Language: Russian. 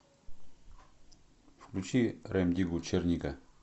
включи рем диггу черника